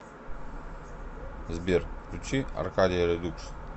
сбер включи аркадия редукс